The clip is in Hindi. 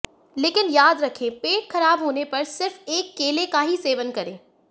लेकिन याद रखें पेट खराब होने पर सिर्फ एक केले का ही सेवन करें